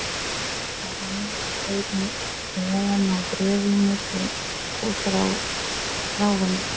Þar liggja þeir nú ofan á bréfinu til húsráðenda.